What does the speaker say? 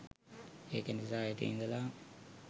ඒක නිසා හෙට ඉඳලා